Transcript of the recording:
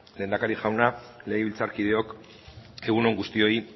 lehendakari jauna legebiltzarkideok egun on guztioi